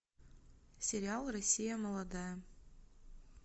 сериал россия молодая